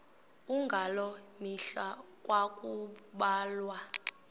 ngaloo mihla ekwakubulawa